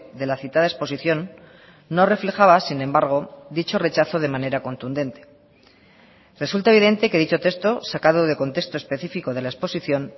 de la citada exposición no reflejaba sin embargo dicho rechazo de manera contundente resulta evidente que dicho texto sacado de contexto específico de la exposición